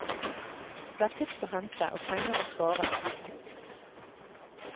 Det er tips å hente, og penger å spare.